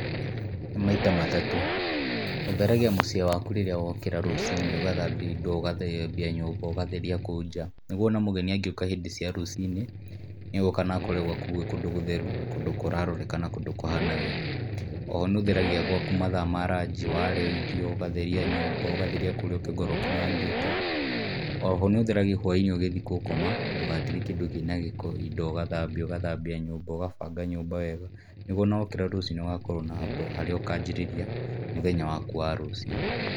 Nĩ maita matatũ, ũtheragia mũciĩ waku rĩrĩa wokĩra rũcinĩ ũgathambia indo, ũgatheria kũu nja nĩguo ona mũgeni angĩũka hĩndĩ ya rucinĩ nĩegũka na akore kũndu gwaku gũgũtheru na kũndũ kũraroreka na kũndũ kũhana wega. Oho nĩũtheragia gwaku mathaa maraji warĩa irio ,ũgatheria nyũmba ,ũgatheria kũrĩa ũngĩkorwo ũkinyangĩte ,oho nĩ ũtheragia hwaĩinĩ ũgĩthiĩ gũkoma ndũgatige kĩndũ kĩnagĩko ,indo ũgathambia, ũgathambia nyũmba, ũgabanga nyũmba wega nĩguo ona wokĩra rũcinĩ ũgakorwa na harĩa ũkanjĩrĩria mũthenya waku wa rũcio.